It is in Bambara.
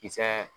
Kisɛ